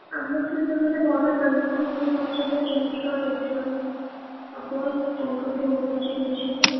ଆମଠୁ ଯୋଉ ମାନେ ବଡ ତାଙ୍କୁ ପଚାରିବା କେମିତି କଣ exam ହବ ତାଙ୍କଠୁ ପଚାରି ବୁଝିନବା ଆଉ,